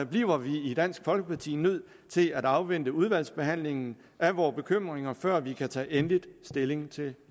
bliver vi i dansk folkeparti nødt til at afvente udvalgsbehandlingen af vore bekymringer før vi kan tage endelig stilling til